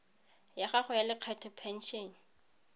ya taelo ya lekgetho phesente